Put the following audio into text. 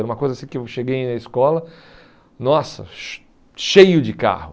Era uma coisa assim que eu cheguei na escola, nossa, cheio de carro.